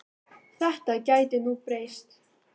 Þetta gæti nú breyst.